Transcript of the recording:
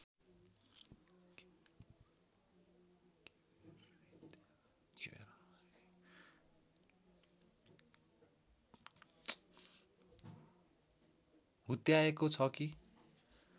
हुत्याएको छ कि